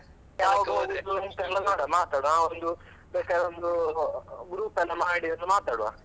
ಯಾವಾಗ ಹೋಗುದ್ ಅಂತ ಮಾತಡುವಾ ಬೇಕಾದ್ರೆ ಒಂದು group ಎಲ್ಲ ಮಾಡಿ ಮಾತಾಡ್ವ.